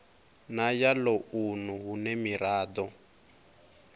na ya ḽounu hune miraḓo